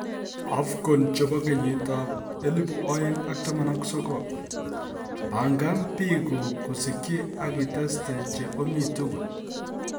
AFCON 2019: Pangan biikuk kosikyi ak iteste che omi tugul